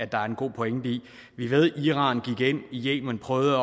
der er en god pointe i vi ved at iran gik ind i yemen prøvede